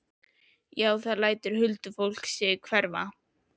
Já, þá lætur huldufólkið sig hverfa.